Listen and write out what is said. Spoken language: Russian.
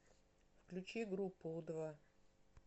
включи группу у два